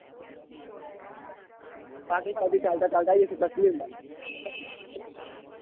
શાંતિ શાંતિ ચાલતા ચાલતા આઇએ સીધા કાશ્મીર માં.